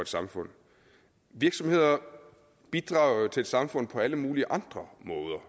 samfund virksomheder bidrager til et samfund på alle mulige andre måder